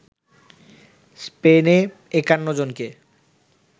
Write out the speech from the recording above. স্পেনে ৫১ জনকে